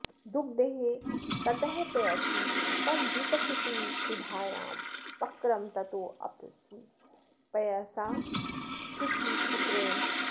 दुग्धे ततः पयसि तं विपचेत्सुधायां पक्रं ततोऽपि पयसा शुचिचिक्रणेन